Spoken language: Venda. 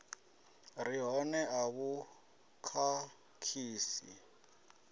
re hone a vhu khakhisi